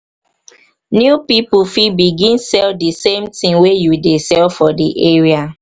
new pipo fit begin sell di same thing wey you dey sell for di area